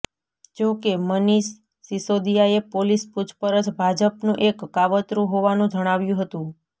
જો કે મનિષ સિસોદિયાએ પોલીસ પુછપરછ ભાજપનું એક કાવત્રું હોવાનું જણાવ્યું હતું